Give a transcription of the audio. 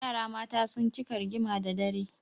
Yara mata sun cika rigima da dare.